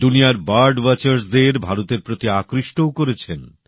দুনিয়ার পক্ষী বিশারদদের ভারতের প্রতি আকৃষ্টও করেছেন